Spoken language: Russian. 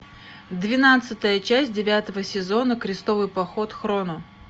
двенадцатая часть девятого сезона крестовый поход хроно